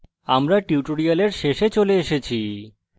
আমরা tutorial শেষে চলে এসেছি